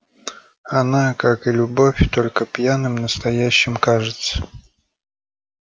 она как и любовь только пьяным настоящей кажется